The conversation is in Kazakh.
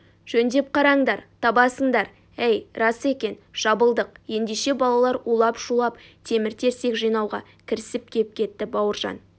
жөндеп қараңдар табасыңдар әй рас екен жабылдық ендеше балалар улап-шулап темір-терсек жинауға кірісіп кеп кетті бауыржан